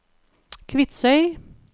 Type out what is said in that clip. Kvitsøy